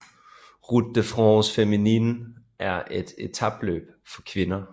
Route de France Féminine er et etapeløb for kvinder